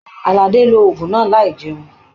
Aládé ló òògùn náà láì jẹun